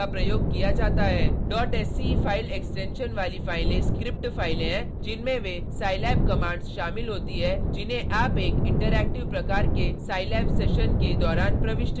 sce file extension वाली फाइलें script फाइलें हैं जिनमें वे scilab कमांड्स शामिल होती है जिन्हें आप एक इंटरैक्टिव प्रकार के scilab सेशन के दौरान प्रविष्ट करते हैं